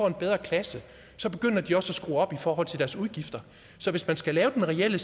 en bedre klasse så begynder de også at skrue op i forhold til deres udgifter så hvis man skal lave den reelle